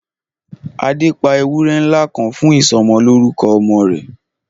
Adé pa ewúré ńlá kan fún isọmọlúrúkọ ọmọ rẹ̀